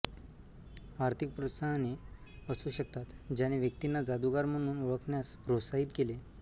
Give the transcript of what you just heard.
आर्थिक प्रोत्साहने असू शकतात ज्याने व्यक्तींना जादूगार म्हणून ओळखण्यास प्रोत्साहित केले